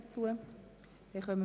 – Das ist nicht der Fall.